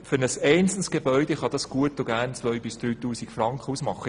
Das kann gut und gerne 2000í3000 Franken pro Gebäude ausmachen.